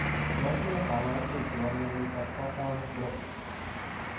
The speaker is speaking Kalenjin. Tos ne kabarunoik chepoo mionitok poo Taons Broks?